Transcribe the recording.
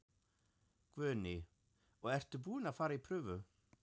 Guðný: Og ert þú búin að fara í prufu?